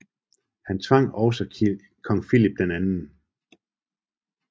Han tvang også kong Filip 2